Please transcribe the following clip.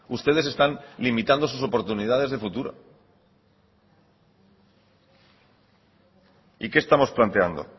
ustedes están limitando sus oportunidades de futuro y qué estamos planteando